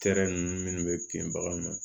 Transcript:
ninnu minnu bɛ bin baganw na